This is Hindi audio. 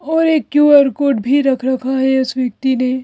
और एक क्यू_आर कोड भी रख रखा है इस व्यक्ति ने।